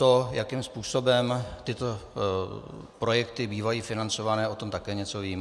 To, jakým způsobem tyto projekty bývají financované, o tom také něco vím.